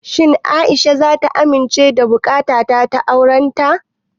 Shin Aisha zata amince da buƙatata ta aurenta?